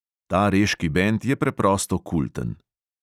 Ta reški bend je preprosto kulten.